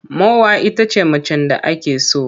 Mowa ita ce macen da ake so.